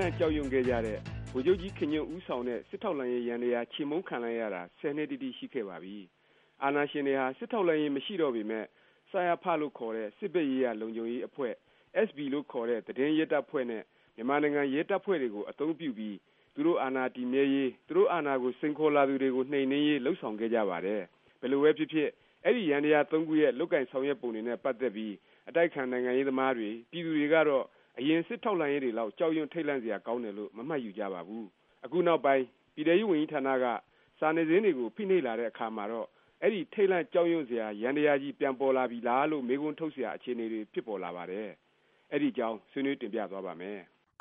လန့်ကြောက်ရွံ့ခဲ့ကြတဲ့ ဗိုလ်ချုပ်ကြီးခင်ညွန့်ဦးဆောင်တဲ့ စစ်ထောက်လှမ်းရေး ယန္တယား ခြေမှုန်းခံလိုက်ရတာ ၁၀ နှစ်တိတိ ရှိခဲ့ပါပြီ။ အာဏာရှင်တွေဟာ စစ်ထောက်လှမ်းရေး မရှိတော့ပေမယ့် စရဖ လို့ ခေါ်တဲ့ စစ်ဖက်ရေးရာ လုံးခြုံရေးအဖွဲ့၊ အက်စ်ဘီ လို့ ခေါ်တဲ့ သတင်းရဲတပ်ဖွဲ့ နဲ့ မြန်မာနိုင်ငံရဲတပ်ဖွဲ့တွေကို အသုံးပြုပြီး သူတို့ အာဏာတည်မြဲရေး၊ သူတို့ အာဏာကို စိန်ခေါ်လာသူတွေကို နှိမ်နင်းရေး လုပ်ဆောင်ခဲ့ကြပါတယ်။ ဘယ်လိုပဲ ဖြစ်ဖြစ် အဲဒီ ယန္တယား ၃ ခုရဲ့ လုပ်ကိုင်ဆောင်ရွက်ပုံတွေနဲ့ ပါတ်သက်ပြီး အတိုက်အခံ နိုင်ငံရေးသမားတွေ၊ ပြည်သူတွေကတော့ အရင် စစ်ထောက်လှမ်းရေးတွေလောက် ကြောက်ရွံ့ ထိတ်လန့်စရာ ကောင်းတယ်လို့ မမှတ်ယူကြပါဘူး။ အခု နောက်ပိုင်း ပြည်ထဲရေးဝန်ကြီးဌာနက စာနယ်ဇင်းတွေကို ဖိနှိပ်လာတဲ့ အခါမှာတော့ အဲဒီ ထိတ်လန့်ကြောက်ရွံ့စရာ ယန္တယားကြီး ပြန်ပေါ်လာပြီလား လို့ မေးခွန်းထုတ်စရာ အခြေအနေတွေ ဖြစ်ပေါ်လာပါတယ်။ အဲဒီ အကြောင်း ဆွေးနွေးတင်ပြသွားပါ့မယ်။